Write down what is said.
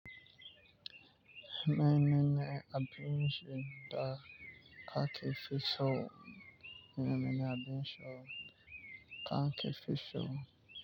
Mene ne abin ci da kake fi so mene mene abin ci kake fi so.